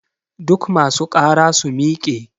Duk ma su ƙara su miƙe!